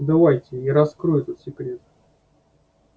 давайте я раскрою этот секрет